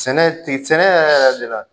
Sɛnɛ sɛnɛ yɛrɛ yɛrɛ de la